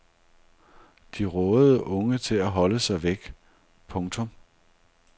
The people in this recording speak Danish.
De rådede unge til at holde sig væk. punktum